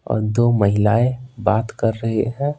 और दो महिलाएं बात कर रही हैं।